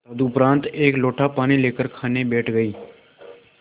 तदुपरांत एक लोटा पानी लेकर खाने बैठ गई